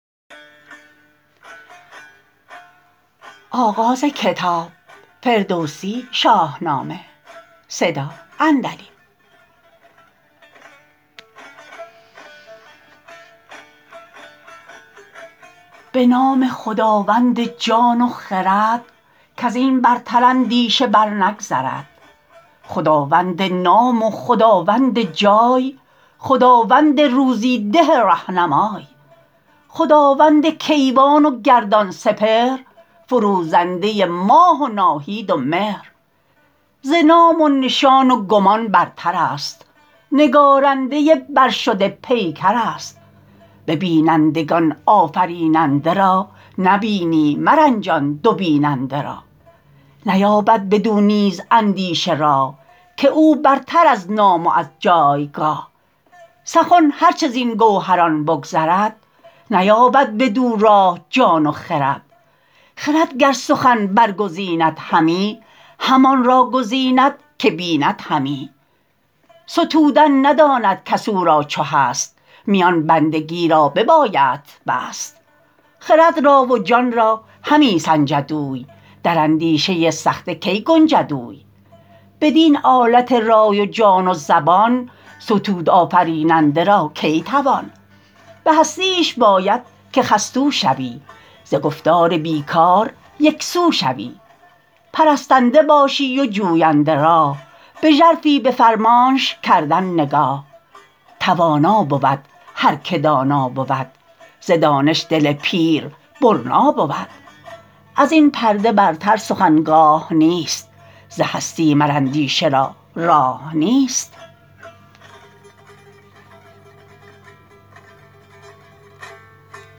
به نام خداوند جان و خرد کز این برتر اندیشه بر نگذرد خداوند نام و خداوند جای خداوند روزی ده رهنمای خداوند کیوان و گردان سپهر فروزنده ماه و ناهید و مهر ز نام و نشان و گمان برتر است نگارنده برشده پیکر است به بینندگان آفریننده را نبینی مرنجان دو بیننده را نیابد بدو نیز اندیشه راه که او برتر از نام و از جایگاه سخن هر چه زین گوهران بگذرد نیابد بدو راه جان و خرد خرد گر سخن برگزیند همی همان را گزیند که بیند همی ستودن نداند کس او را چو هست میان بندگی را ببایدت بست خرد را و جان را همی سنجد اوی در اندیشه سخته کی گنجد اوی بدین آلت رای و جان و زبان ستود آفریننده را کی توان به هستیش باید که خستو شوی ز گفتار بی کار یکسو شوی پرستنده باشی و جوینده راه به ژرفی به فرمانش کردن نگاه توانا بود هر که دانا بود ز دانش دل پیر برنا بود از این پرده برتر سخن گاه نیست ز هستی مر اندیشه را راه نیست